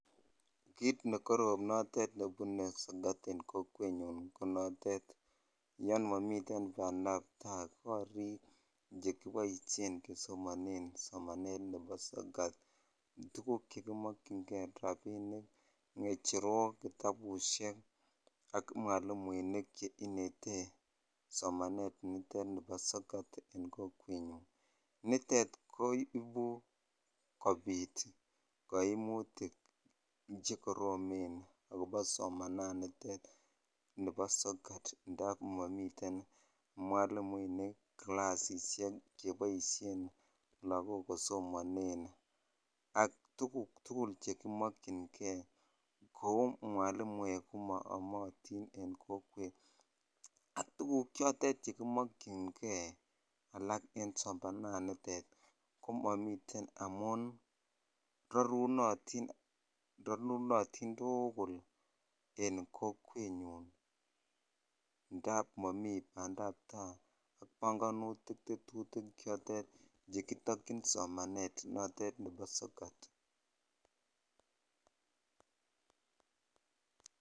Kit ne korom netot nebune sokat en kokwet nyun, ko notet. Yan mamiten bandaptai korik che kiboisien kesomanen somanet nebo sokat. Tuguk chekimakchiney, rabinik, ng'echerok, kitabusiek ak mwaliminik che ineten somanet nitet nebo sokat en kokwet nyun. Nitet koibu kobit kaimutik che koromen akobo somananitet neb sokat ndaa mamiten mwaliunik kilasisiek che boisien lagok kosomanen. Ak tuguk tugul chekimakchinkei. Kou mwalimuek koma amatin en kokwet. Ak tuguk chotet chekimakchinei alak en somanat nitet, komamiten amun rarunotin, ranunotin tugul en kokwet nyun. Ndap mami pandaptai panganutik tetutik chotet chekitakchin somanet notet nebo sokat